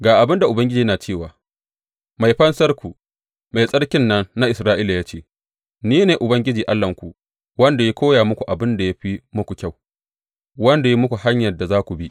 Ga abin da Ubangiji yana cewa, Mai Fansarku, Mai Tsarkin nan na Isra’ila ya ce, Ni ne Ubangiji Allahnku, wanda ya koya muku abin da ya fi muku kyau, wanda ya muku hanyar da za ku bi.